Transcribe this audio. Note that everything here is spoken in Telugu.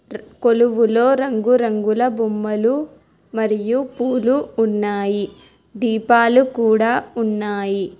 కొలువులో రంగురంగుల బొమ్మలు మరియు పూలు ఉన్నాయి దీపాలు కూడా ఉన్నాయి.